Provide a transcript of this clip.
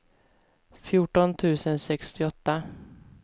fjorton tusen sextioåtta